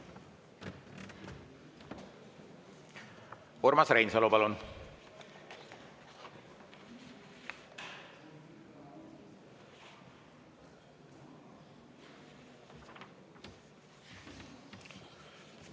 Urmas Reinsalu, palun!